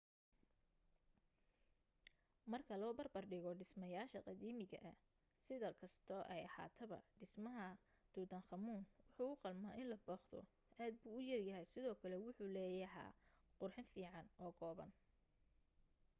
marka loo barbar dhigo dhismayaasha qadiimiga ah si kastoo ay ahaataba dhismaha tutankhamun wuu u qalmaa in la booqdo aad buu u yaryahay sidoo kale wuxuu leeyaha qurxin fiican oo kooban